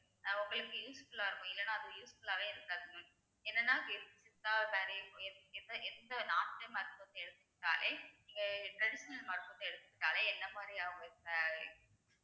அவங்~ உங்களுக்கு useful ஆ இருக்கும் இல்லேன்னா அது useful ஆவே இருக்காது உம் என்னென்னா சித்தா எந்த எந்த மருத்துவத்தை எடுத்துக்கிட்டாலே நீங்க traditional மருத்துவத்தை எடுத்துக்கிட்டாலே என்ன மாதிரி